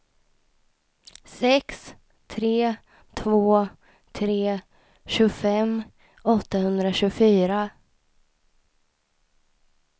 sex tre två tre tjugofem åttahundratjugofyra